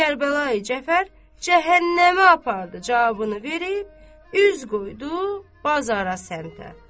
Kərbəlayi Cəfər cəhənnəmə apardı cavabını verib, üz qoydu bazara səmtə.